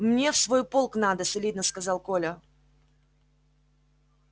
мне в свой полк надо солидно сказал коля